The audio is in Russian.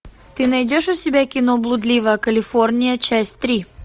ты найдешь у себя кино блудливая калифорния часть три